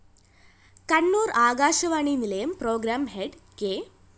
കണ്ണൂര്‍ ആകാശവാണി നിലയം programme head K